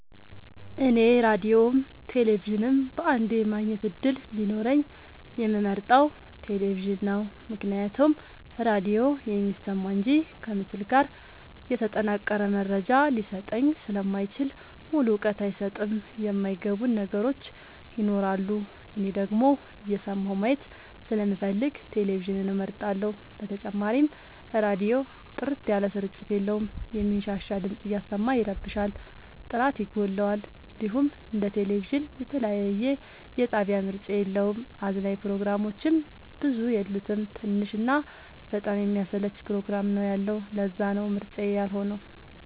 እኔ ራዲዮም ቴሌቪዥንም በአንዴ የማግኘት እድል ቢኖረኝ የምመርጠው። ቴሌቪዥንን ነው ምክንያቱም ራዲዮ የሚሰማ እንጂ ከምስል ጋር የተጠናቀረ መረጃ ሊሰጠኝ ስለማይችል ሙሉ እውቀት አይሰጥም የማይ ገቡን ነገሮች ይኖራሉ። እኔ ደግሞ እየሰማሁ ማየት ስለምፈልግ ቴሌቪዥንን እመርጣለሁ። በተጨማሪም ራዲዮ ጥርት ያለ ስርጭት የለውም የሚንሻሻ ድምፅ እያሰማ ይረብሻል ጥራት ይጎለዋል። እንዲሁም እንደ ቴሌቪዥን የተለያየ የጣቢያ ምርጫ የለውም። አዝናኝ ፕሮግራሞችም ብዙ የሉት ትንሽ እና በጣም የሚያሰለች ፕሮግራም ነው ያለው ለዛነው ምርጫዬ ያልሆ ነው።